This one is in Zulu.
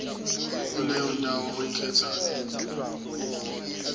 kuleyo ndawo oyikhethayo